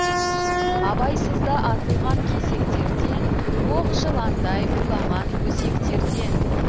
абайсызда атылған кесектерден оқ жыландай улаған өсектерден